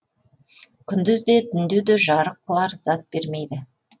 күндіз де түнде де жарық қылар зат бермейді